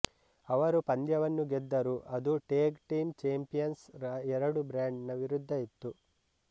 ಅವರು ಪಂದ್ಯವನ್ನು ಗೆದ್ದರು ಅದು ಟೇಗ್ ಟೀಮ್ ಚೆಂಪಿಯಂಸ್ ರ ಎರಡು ಬ್ರೇಂಡ್ ನ ವಿರುದ್ಧ ಇತ್ತು